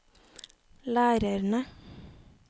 lærerne